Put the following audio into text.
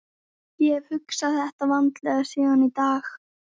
Ég hef hugsað þetta vandlega síðan í dag.